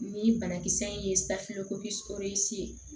Ni banakisɛ in ye safunɛ kos ye